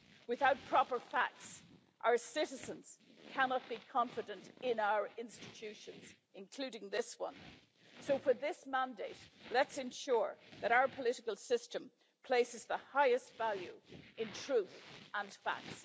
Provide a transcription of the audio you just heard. Without proper facts, our citizens cannot be confident in our institutions, including this one. So for this mandate, let's ensure that our political system places the highest value in truth and fact.